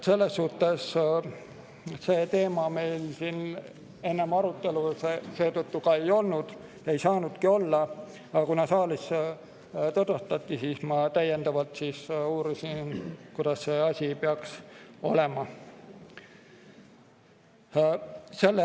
Selles suhtes seda teemat meil siin arutelul ei olnud, ei saanudki olla, aga kuna saalis seda tutvustati, siis ma täiendavalt uurisin, kuidas see asi peaks olema.